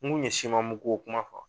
N' kun ɲɛ siman mugu ko kuma fɔ